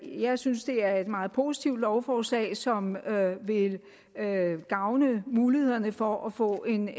jeg synes det er et meget positivt lovforslag som vil gavne mulighederne for at få en